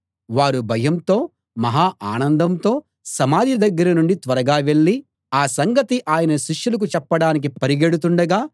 వారు భయంతో మహా ఆనందంతో సమాధి దగ్గర నుండి త్వరగా వెళ్ళి ఆ సంగతి ఆయన శిష్యులకు చెప్పడానికి పరుగెడుతుండగా